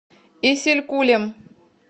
исилькулем